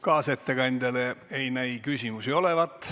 Kaasettekandjale ei näi küsimusi olevat.